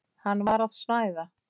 Hann var að snæða.